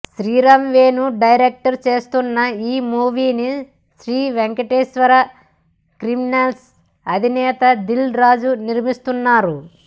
Sriram Venu direct చేస్తోన్న ఈ మూవీని శ్రీ వెంకటేశ్వర క్రియేషన్స్ అధినేత దిల్ రాజు నిర్మిస్తున్నారు